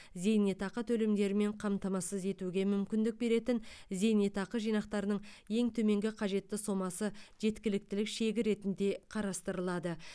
зейнетақы төлемдерімен қамтамасыз етуге мүмкіндік беретін зейнетақы жинақтарының ең төменгі қажетті сомасы жеткіліктілік шегі ретінде қарастырылады